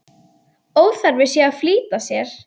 Óþarfi sé að flýta sér.